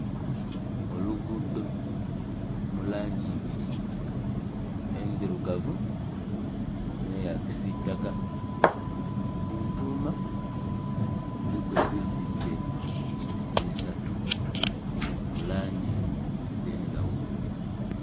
Oluguudo mulangi ibiri endhirugavu n'eya kisitaka kuntuma kuliku ebizimbe bisatu mulangi edhendhaghulo.